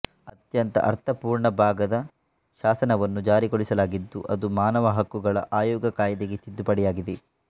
ಅತ್ಯಂತ ಅರ್ಥಪೂರ್ಣ ಭಾಗದ ಶಾಸನವನ್ನು ಜಾರಿಗೊಳಿಸಲಾಗಿದ್ದು ಅದು ಮಾನವ ಹಕ್ಕುಗಳ ಆಯೋಗ ಕಾಯ್ದೆಗೆ ತಿದ್ದುಪಡಿಯಾಗಿದೆ